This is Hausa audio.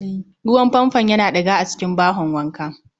Ruwan Fanfon Yana diga a cikin bahon wanka